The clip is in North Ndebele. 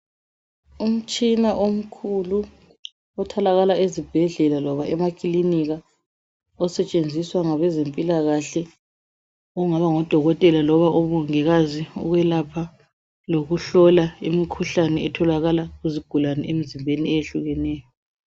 Umtshina omkhulu otholakala ezibhedlela loba emaklinika osetshenziswa ngabe zempilakahle okungaba ngodokotela loba omongikazi ukwelapha lokuhlola imikhuhlane etholakala kuzigulane emzimbeni eyehlukeneyo.